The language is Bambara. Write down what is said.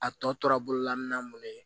A tɔ tora bololamina mun ye